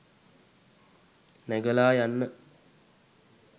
නැගලා යන්න